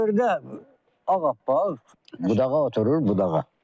Xırda ağappaq, budağa oturur budağa.